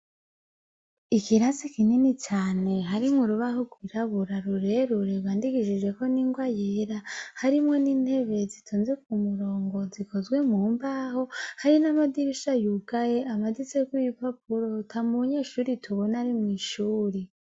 Ikirasi kinini cane harimwo urubaho rw'irabura rurerure rwandikishijeko ningwa yera harimwo n'intebe zitonze imirongo zikozwe mu mbaho hari namadirisha yugaye amaditseko ibipapuro, atamunyeshure tubona Ari mwishure.